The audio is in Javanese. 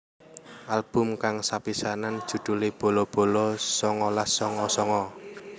Album kang sepisanan judhulé Bolo bolo songolas songo songo